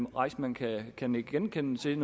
reissmann kan kan nikke genkendende til